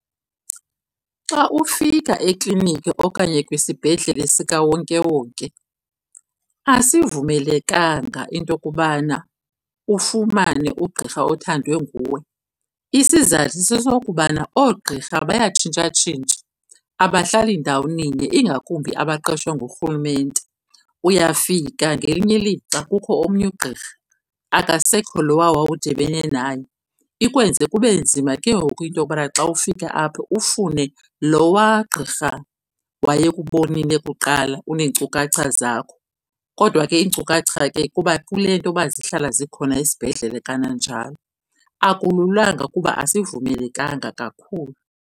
Xa ufika ekliniki okanye kwisibhedle sikawonkewonke asivumelekanga into yokubana ufumane ugqirha othandwe nguwe. Isizathu sesokubana oogqirha bayatshintshatshintsha, abahlali ndawoninye ingakumbi abaqeshwe ngurhulumente. Uyafika ngelinye ilixa kukho omnye ugqirha, akasekho lowa wawudibene naye. Ikwenze kube nzima ke ngoku into yokubana xa ufika apha ufune lowa gqirha wayekubonile kuqala uneenkcukaca zakho, kodwa ke iinkcukacha ke kuba kule nto yoba zihlala zikhona esibhedlele kananjalo. Akululanga kuba asivumelekanga kakhulu.